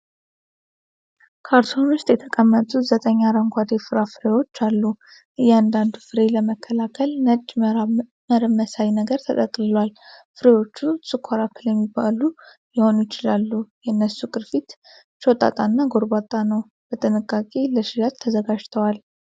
ካርቶን ውስጥ የተቀመጡ ዘጠኝ አረንጓዴ ፍራፍሬዎች አሉ። እያንዳንዱ ፍሬ ለመከላከል ነጭ መረብ መሳይ ነገር ተጠቅልሏል። ፍሬዎቹ ስኳር አፕል የሚባሉ ሊሆኑ ይችላሉ። የእነሱ ቅርፊት ሾጣጣ እና ጎርባጣ ነው። በጥንቃቄ ለሽያጭ ተዘጋጅተዋል።